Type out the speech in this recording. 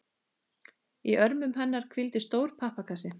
Í örmum hennar hvíldi stór pappakassi.